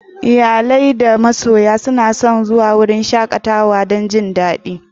Iyale da masoya suna son zuwan wuraren shakatawa dan su ji dadi.